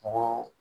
Ko